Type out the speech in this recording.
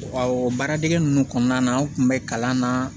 o baara dege ninnu kɔnɔna na an kun bɛ kalan na